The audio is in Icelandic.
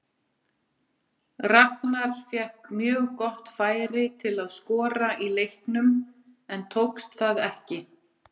Ragnar fékk mjög gott færi til að skora í leiknum en tókst það ekki.